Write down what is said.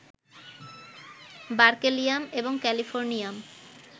berkelium এবং californium